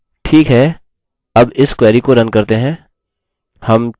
ठीक है अब इस query को रन करते हैं